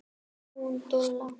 Hún dula.